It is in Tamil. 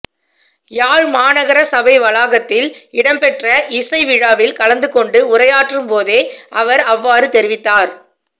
யாழ் மாநகர சபை வளாகத்தில் இடம்பெற்ற இசைவிழாவில் கலந்துகொண்டு உரையாற்றும் போதே அவர் அவ்வாறு தெரிவித்தார்